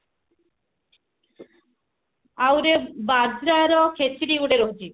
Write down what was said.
ଆଉଟେ ବାଜାରା ର ଖେଚିଡି ଗୋଟେ ରହୁଛି